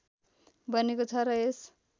बनेको छ र यस